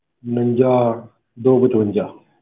ਉਣੰਜਾ ਦੋ ਪਚਵੰਜਾ।